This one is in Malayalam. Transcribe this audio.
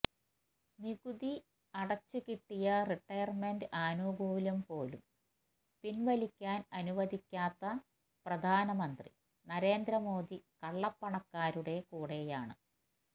നികുതി അടച്ചുകിട്ടിയ റിട്ടയര്മെന്റ് ആനുകൂല്യംപോലും പിന്വലിക്കാന് അനുവദിക്കാത്ത പ്രധാനമന്ത്രി നരേന്ദ്രമോദി കള്ളപ്പണക്കാരുടെ കൂടെയാണ്